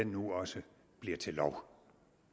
nu også bliver til lov